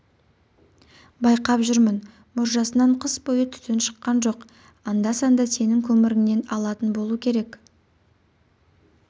байқап жүрмін мұржасынан қыс бойы түтін шыққан жоқ анда-санда сенің көміріңнен алатын болу керек